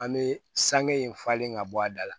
An bɛ sange in falen ka bɔ a da la